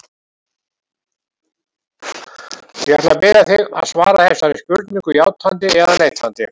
Ég ætla að biðja þig að svara þessari spurningu játandi eða neitandi.